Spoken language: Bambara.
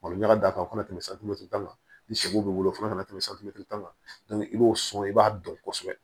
Malo ɲaga da o kan ka tɛmɛ santimɛtiri tan kan ni sogo b'i bolo fo kana tɛmɛ santimɛtiri tan kan i b'o sɔn i b'a dɔn kosɛbɛ